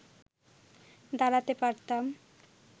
দাঁড়াতে পারতাম